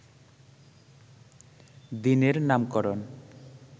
দিনের নামকরণ